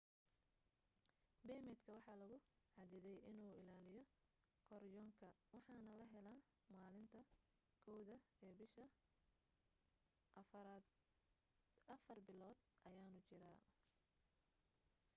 beemidka waxaa lagu xadiday inuu ilaaliyo karyonka waxaana la helaa maalinta 1aad ee bisha afar bilood ayaanu jiraa